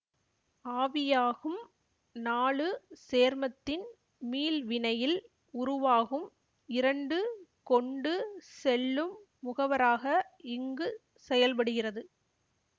ஆவியாகும் நாலு சேர்மத்தின் மீள்வினையில் உருவாகும் இரண்டு கொண்டு செல்லும் முகவராக இங்குச் செயல்படுகிறது